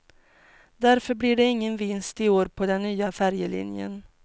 Därför blir det ingen vinst i år på den nya färjelinjen.